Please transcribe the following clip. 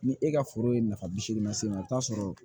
Ni e ka foro ye nafa bi seegin lase ma i bi t'a sɔrɔ